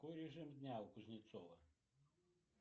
какой режим дня у кузнецова